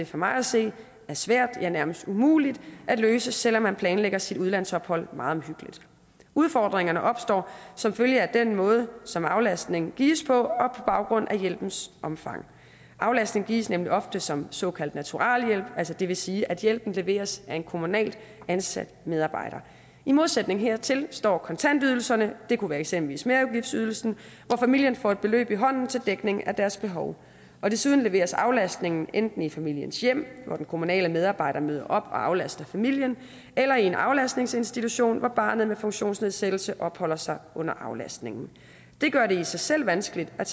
for mig at se er svære ja nærmest umulige at løse selv om man planlægger sit udlandsophold meget omhyggeligt udfordringerne opstår som følge af den måde som aflastningen gives på baggrund af hjælpens omfang aflastningen gives nemlig ofte som såkaldt naturalhjælp altså det vil sige at hjælpen leveres af en kommunalt ansat medarbejder i modsætning hertil står kontantydelserne det kunne eksempelvis være merudgiftsydelsen hvor familien får et beløb i hånden til dækning af deres behov og desuden leveres aflastningen enten i familiens hjem hvor den kommunale medarbejder møder op og aflaster familien eller i en aflastningsinstitution hvor barnet med funktionsnedsættelse opholder sig under aflastningen det gør det i sig selv vanskeligt at